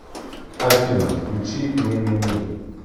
афина включи мимими